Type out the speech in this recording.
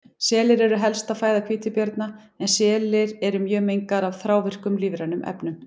Selir eru helsta fæða hvítabjarna en selir eru mjög mengaðir af þrávirkum lífrænum efnum.